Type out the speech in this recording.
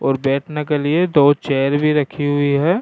और बैठने के लिएदो चेयर भी रखी हुई है।